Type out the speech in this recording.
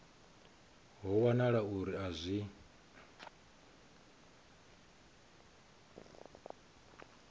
ho wanala uri a zwi